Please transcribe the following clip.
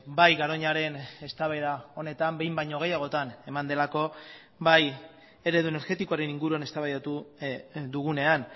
bai garoñaren eztabaida honetan behin baino gehiagotan eman delako bai eredu energetikoaren inguruan eztabaidatu dugunean